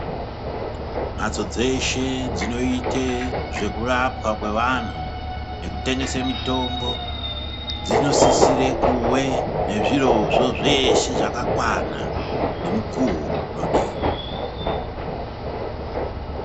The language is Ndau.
Madzo dzese dzinoite zvekurapwa kwevantu nekutengesa mitombo dzinosisire kuve ngezviro zvo zveshe zvakwana nemukuwo unodiwa.